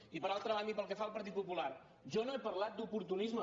i per altra banda i pel que fa al partit popular jo no he parlat d’oportunisme